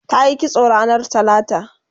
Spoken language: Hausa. tayi kitso ranar talata